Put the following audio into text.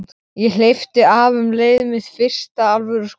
Ég hleypti af um leið: Mitt fyrsta alvöru skot.